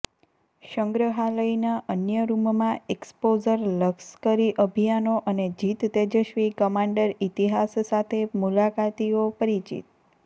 સંગ્રહાલયના અન્ય રૂમમાં એક્સપોઝર લશ્કરી અભિયાનો અને જીત તેજસ્વી કમાન્ડર ઇતિહાસ સાથે મુલાકાતીઓ પરિચિત